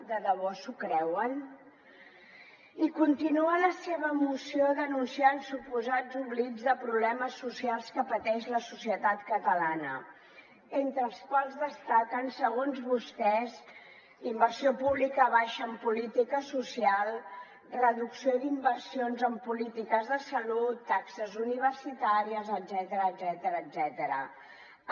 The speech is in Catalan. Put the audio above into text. de debò s’ho creuen i continua la seva moció denunciant suposats oblits de problemes socials que pateix la societat catalana entre els quals destaquen segons vostès inversió pública baixa en política social reducció d’inversions en polítiques de salut taxes universitàries etcètera